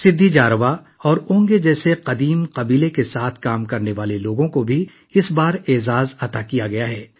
سدھی، جاراوا اور اونگے جیسے قبائلیوں کے ساتھ کام کرنے والے لوگوں کو بھی اس بار اعزاز سے نوازا گیا ہے